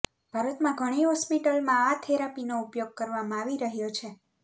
ભારતમાં ઘણી હોસ્પિટલમાં આ થેરાપીનો ઉપયોગ કરવામાં આવી રહ્યો છે